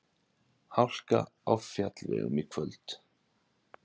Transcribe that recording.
Hálka á fjallvegum í kvöld